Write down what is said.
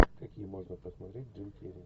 какие можно посмотреть джим керри